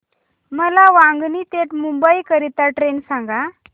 मला वांगणी ते मुंबई करीता ट्रेन सांगा